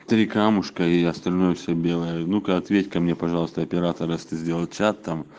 три камушка и остальное все белое ну ка ответь ка мне пожалуйста оператора если ты сделать чат там